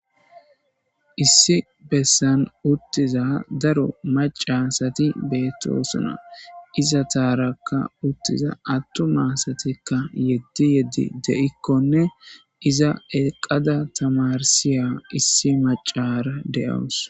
Issi bessan uttiza daro macasati beettosona iza taarakka uttiza attu maasatikka yeddi yeddi de7ikkonne iza eqada tamarsiya issi macara de7oos